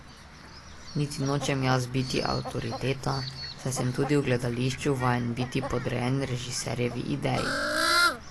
Niti nočem jaz biti avtoriteta, saj sem tudi v gledališču vajen biti podrejen režiserjevi ideji.